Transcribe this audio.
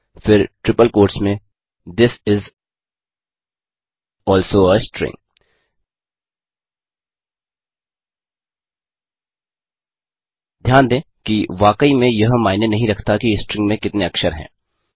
फिर triple quotes में this is also a string ध्यान दें कि वाकई में यह मायने नहीं रखता कि स्ट्रिंग में कितने अक्षर हैं